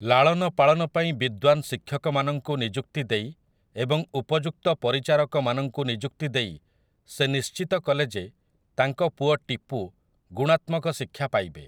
ଲାଳନ ପାଳନ ପାଇଁ ବିଦ୍ୱାନ୍ ଶିକ୍ଷକମାନଙ୍କୁ ନିଯୁକ୍ତି ଦେଇ ଏବଂ ଉପଯୁକ୍ତ ପରିଚାରକମାନଙ୍କୁ ନିଯୁକ୍ତି ଦେଇ ସେ ନିଶ୍ଚିତ କଲେ ଯେ ତାଙ୍କ ପୁଅ ଟିପୁ ଗୁଣାତ୍ମକ ଶିକ୍ଷା ପାଇବେ ।